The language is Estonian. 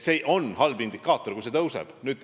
See on halb, kui see indikaator tõuseb.